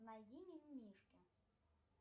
найди мимимишки